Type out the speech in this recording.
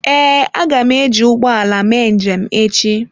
Ee, a ga m eji ụgbọ ala mee njem echi.